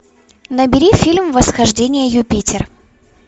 набери фильм восхождение юпитер